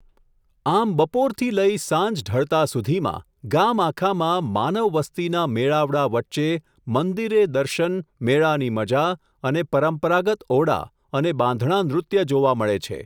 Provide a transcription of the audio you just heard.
આમ બપોરથી લઇ સાંજ ઢળતા સુધીમાં ગામ આખામાં માનવવસ્તીના મેળાવડા વચ્ચે મંદિરે દર્શન, મેળાની મઝા અને પરંપરાગત ઓડા અને બાંધણા નૃત્ય જોવા મળે છે.